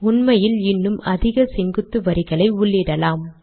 உண்மையில் இன்னும் அதிக செங்குத்து வரிகளை உள்ளிடலாம்